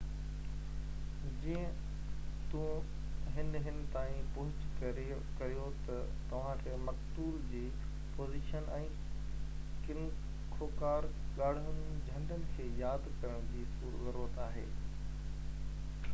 جيئن توهن هن تائين پهچ ڪريو ته توهان کي مقتول جي پوزيشن ۽ ڪن خوڪار ڳاڙهن جهنڊن کي ياد ڪرڻ جي ضرورت آهي